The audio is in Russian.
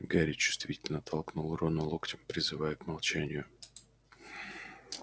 гарри чувствительно толкнул рона локтем призывая к молчанию